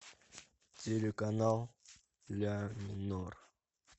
телеканал ля минор